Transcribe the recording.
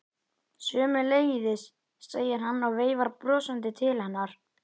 Sömuleiðis, segir hann og veifar brosandi til hennar.